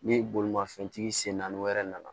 Ni bolimafɛntigi sen naani wɛrɛ nana